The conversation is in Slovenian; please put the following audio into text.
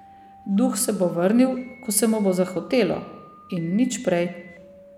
Duh se bo vrnil, ko se mu bo zahotelo, in nič prej.